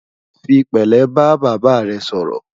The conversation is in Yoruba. fí pèlé bá bàbá rè sòrò